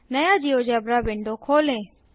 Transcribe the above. नया GeoGebra window खोलें